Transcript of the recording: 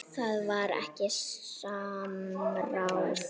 Það var ekkert samráð.